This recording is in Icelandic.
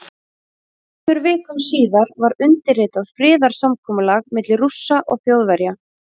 Tveimur vikum síðar var undirritað friðarsamkomulag milli Rússa og Þjóðverja.